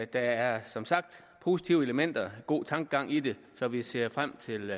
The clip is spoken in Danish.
der er som sagt positive elementer og god tankegang i det så vi ser frem til